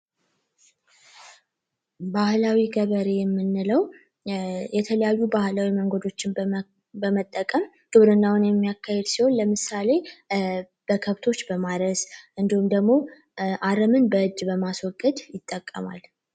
ባህላዊ ገበሬ የምንለው የተለያዩ ባህላዊ መንገዶችን በመጠቀም ግብርናን የሚያካሄድ ሲሆን ለምሳሌ በከብቶች በማካሄድ፣ በማረስ እንዲሁም ደግሞ አረምን በእጅ በማስወገድ ይጠቀማል።